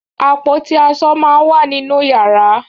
Àpótí aṣọ máá ń wà nínú yàrá